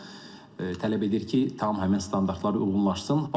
Bu da tələb edir ki, tam həmin standartlara uyğunlaşsın.